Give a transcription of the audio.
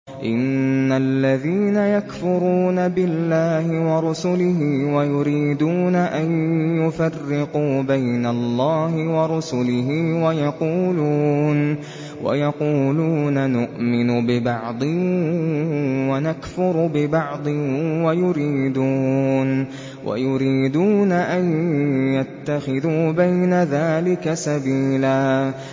إِنَّ الَّذِينَ يَكْفُرُونَ بِاللَّهِ وَرُسُلِهِ وَيُرِيدُونَ أَن يُفَرِّقُوا بَيْنَ اللَّهِ وَرُسُلِهِ وَيَقُولُونَ نُؤْمِنُ بِبَعْضٍ وَنَكْفُرُ بِبَعْضٍ وَيُرِيدُونَ أَن يَتَّخِذُوا بَيْنَ ذَٰلِكَ سَبِيلًا